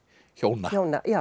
hjóna